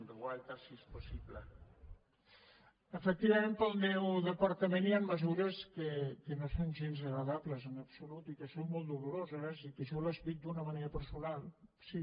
efectivament per al meu departament hi han mesures que no són gens agradables en absolut i que són molt doloroses i que jo les visc d’una manera personal sí